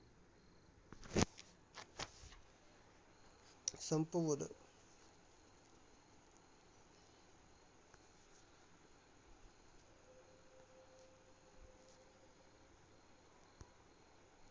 संपवलं.